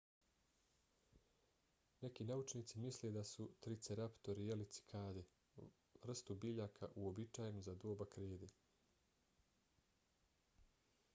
neki naučnici misle da su triceratopi jeli cikade vrstu biljaka uobičajenu za doba krede